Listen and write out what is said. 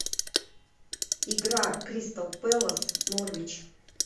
игра кристал пэлас норвич